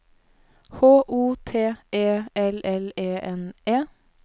H O T E L L E N E